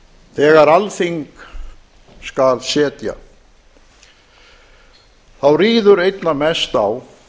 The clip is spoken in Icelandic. þegar alþíng skal setja þá ríður einna mest á